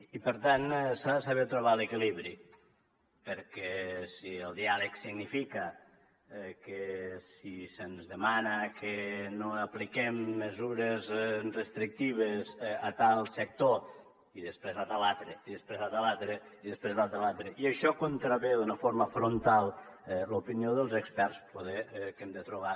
i per tant s’ha de saber trobar l’equilibri perquè si el diàleg significa que si se’ns demana que no apliquem mesures restrictives a tal sector i després a tal altre i després a tal altre i després a tal altre i això contravé d’una forma frontal l’opinió dels experts poder que hem de trobar